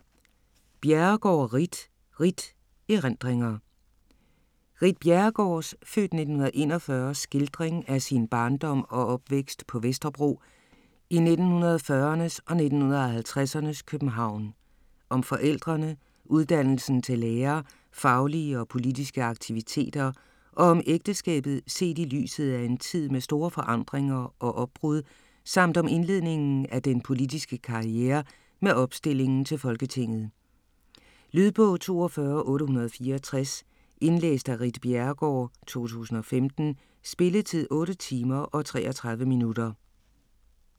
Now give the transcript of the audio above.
Bjerregaard, Ritt: Ritt: erindringer Ritt Bjerregaards (f. 1941) skildring af sin barndom og opvækst på Vesterbro i 1940'ernes og 1950'ernes København. Om forældrene, uddannelsen til lærer, faglige og politiske aktiviteter og om ægteskabet set i lyset af en tid med store forandringer og opbrud samt om indledningen af den politiske karriere med opstillingen til Folketinget. Lydbog 42864 Indlæst af Ritt Bjerregaard, 2015. Spilletid: 8 timer, 33 minutter.